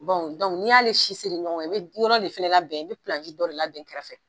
n'i y'ale si seri ɲɔgɔn kan i be yɔrɔ de fɛnɛ labɛn, i be dɔ de labɛn kɛrɛ fɛ.